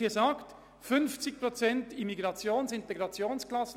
Wir haben 50 Prozent Integrationsklassen.